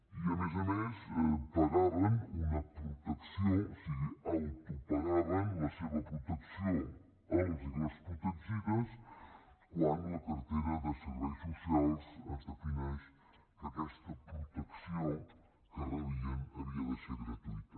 i a més a més pagaven una protecció o sigui autopagaven la seva protecció els i les protegides quan a la cartera de serveis socials es defineix que aquesta protecció que rebien havia de ser gratuïta